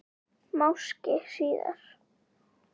Máski síðar.